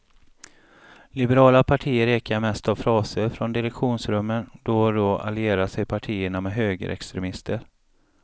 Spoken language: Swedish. Liberala partier ekar mest av fraser från direktionsrummen, då och då allierar sig partierna med högerextremister.